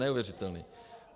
Neuvěřitelné!